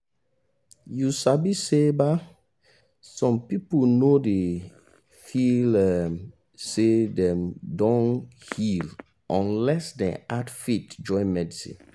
you sabi say um some person no dey feel um say dem don heal unless them add faith join medicine